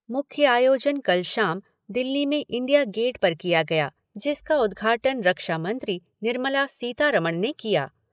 मुख्य आयोजन कल शाम दिल्ली में इंडिया गेट पर किया गया जिसका उद्घाटन रक्षा मंत्री निर्मला सीतारमण ने किया।